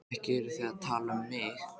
Ekki eruð þið að tala um mig?